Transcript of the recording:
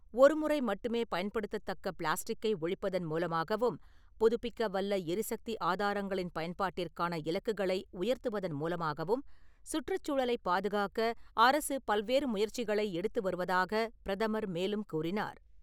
ஒரு முறை மட்டுமே பயன்படுத்தத்தக்க பிளாஸ்டிக்கை ஒழிப்பதன் மூலமாகவும், புதுபிக்கவல்ல எரிசக்தி ஆதாரங்களின் பயன்பாட்டிற்கான இலக்குகளை உயர்த்துவதன் மூலமாகவும், சுற்றுச்சூழலைப் பாதுகாக்க அரசு பல்வேறு முயற்சிகளை எடுத்து வருவதாகப் பிரதமர் மேலும் கூறினார்.